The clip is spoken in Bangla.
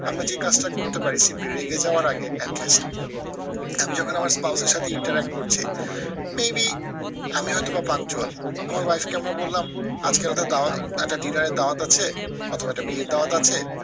আমরা যে কাজটা করতে পারি সে রেগে যাওয়ার আগে at least আমি যখন আমার spouse এর সাথে interact করছি maybe আমি হয়তো বা punctual আমার wife কে আমরা বললাম আজকে একটা দাও একটা dinner এর দাওয়াত আছে অথবা একটা বিয়ের দাওয়াত আছে,